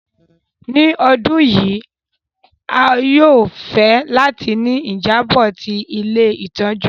Ni ìparí ọdun yi, a yóò fẹ láti ni ìjábò ti ilé ìtójú